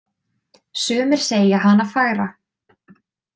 Sumir segja hana fagra.